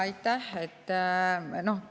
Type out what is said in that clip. Aitäh!